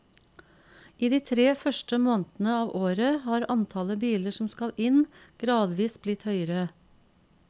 I de tre første månedene av året har antallet biler som skal inn gradvis blitt høyere.